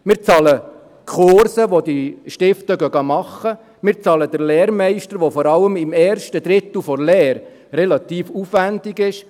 Wir bezahlen Kurse, welche die Lernenden besuchen, wir bezahlen den Lehrmeister, der vor allem im ersten Drittel der Lehre relativ aufwendig ist.